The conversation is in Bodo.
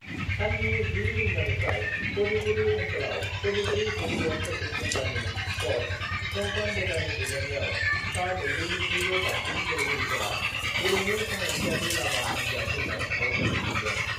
साननि 10:00 रिंगानिफ्राय कर्दैगुरि ओन्सोलयाव कर्दैगुरि भलीबल कचिं सेन्टारनि कच कंकन डेकानि दैदेननायाव सा 200 निख्रुइबो बांसिन गेलेगिरिफोरा गेलेमु सांग्रांथियारि लामा हान्जा सुरनाय हाबाफारि खुंदों।